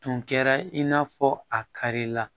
Tun kɛra i n'a fɔ a kari la